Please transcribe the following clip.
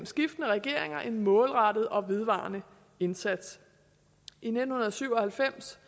skiftende regeringer har gjort en målrettet og vedvarende indsats i nitten syv og halvfems